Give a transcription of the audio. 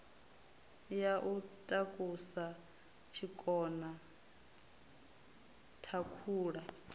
ya u takusa tshikona thakhula